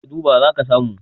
ka duba za ka samu